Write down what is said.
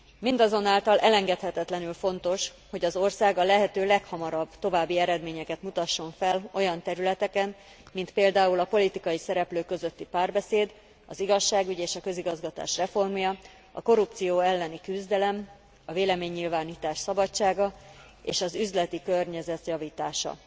Mindazonáltal elengedhetetlenül fontos, hogy az ország a lehető leghamarabb további eredményeket mutasson fel olyan területeken, mint például a politikai szereplők közötti párbeszéd, az igazságügy és a közigazgatás reformja, a korrupció elleni küzdelem, a véleménynyilvánítás szabadsága és az üzleti környezet javítása.